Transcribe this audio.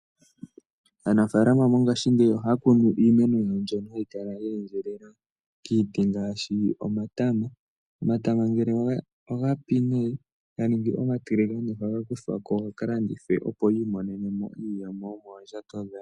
Aanafalama mongashingeyi ohaya kunu iimeno mbyono hayi kala yeendjelela kiitenda ngaashi omatama. Omatama ngele ogapi nee ganingi omatiligane ohaga kuthwa ko gakalandithwe, opo yi imonene mo iiyemo yomoondjato dhawo.